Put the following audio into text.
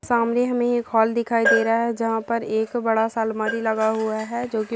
सामने हमे एक हाल दिखाई दे रहा है जहाँ पर बड़ा सा आलमारी लगा हुआ है जो की--